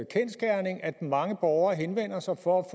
mange borgere henvender sig for at